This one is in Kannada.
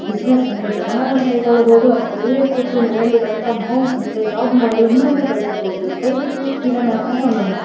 ಬುಸ್ಸಿನ್ಸ್ ಅಂದ್ರೆ ವ್ಯವಹಾರನ ಕೈಗೊಳಬೋದು ಅತ್ವ ನೀವೇ ಕುಂತು ಮನೇಲಿ ವರ್ಕ್ ಫ್ರಮ್ ಹೋಂ ಅಂತೆ ಜಾಬ್ ಮಾಡಿ ಹಣವನ್ನ ಗಾಳಿಸ್ಕೊಳ್ಳಬಹೂದುದಯ್ವಿತ್ತು ಫ್ರೀಡಂ ಆಪ್ ನ ಡೌನ್ಲೋಡ್ ಮಾಡಿ.